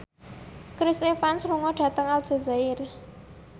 Chris Evans lunga dhateng Aljazair